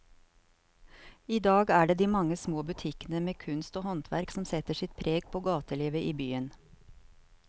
I dag er det de mange små butikkene med kunst og håndverk som setter sitt preg på gatelivet i byen.